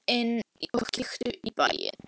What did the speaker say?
Komdu inn og kíktu í bæinn!